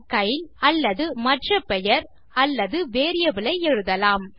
Kyle அல்லது மற்ற பெயர் அல்லது வேரியபிள் ஐ எழுதலாம்